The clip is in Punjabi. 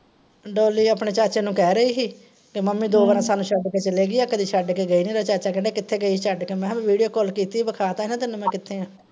ਡੌਲੀ ਆਪਣੇ ਚਾਚੇ ਨੂੰ ਕਹਿ ਰਹੀ ਹੀ, ਕਿ ਮੱਮੀ ਦੋ ਵਾਰਾਂ ਸਾਨੂੰ ਸ਼ੱਡ ਕੇ ਚਲੀ ਗਈ ਏ ਕਦੇ ਸ਼ੱਡ ਕੇ ਗਈ ਨੀ। ਇਹਦਾ ਚਾਚਾ ਕਹਿੰਦਾ ਕਿੱਥੇ ਗਈ ਹੀ ਸ਼ੱਡ ਕੇ? ਮੈਂ ਹਾਂ ਮੈਂ video call ਕੀਤੀ ਹੀ ਵਖਾਤਾ ਹੀ ਨਾ ਤੈਨੂੰ ਮੈਂ ਕਿੱਥੇ ਆਂ।